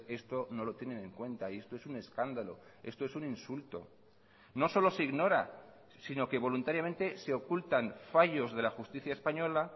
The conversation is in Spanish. esto no lo tienen en cuenta y esto es un escándalo esto es un insulto no solo se ignora sino que voluntariamente se ocultan fallos de la justicia española